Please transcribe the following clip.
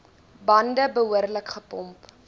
bande behoorlik gepomp